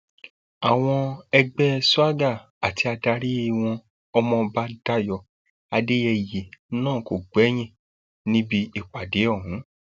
àwọn ẹgbẹ swagger àti adarí wọn ọmọọba dayo adéyẹyẹ náà kò gbẹyìn níbi ìpàdé ọhún